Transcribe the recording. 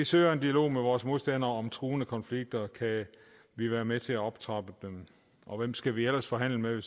søger en dialog med vores modstandere om truende konflikter kan vi være med til at optrappe dem og hvem skal vi ellers forhandle med